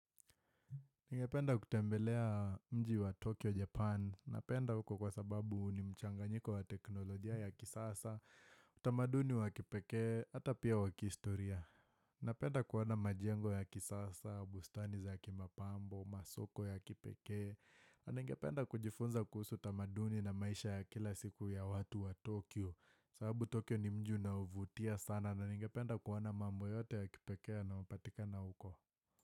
Ningependa kutembelea mji wa Tokyo, Japan. Napenda huko kwa sababu ni mchanganyiko wa teknolojia ya kisasa, utamaduni wa kipekee, hata pia wa kihistoria. Napenda kuona majengo ya kisasa, bustani za kimapambo, masoko ya kipekee. Na ningependa kujifunza kuhusu utamaduni na maisha ya kila siku ya watu wa Tokyo. Sababu Tokyo ni mji unaovutia sana na ningependa kuona mambo yote ya kipekee na yanayopatikana huko.